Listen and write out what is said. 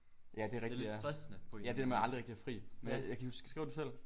Ja det er rigtig ja ja det med aldrig rigtig at have fri jeg jeg kan ikke huske skriver du selv